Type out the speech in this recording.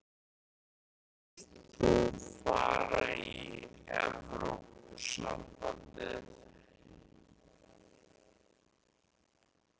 Helga Arnardóttir: Af hverju vilt þú fara í Evrópusambandið?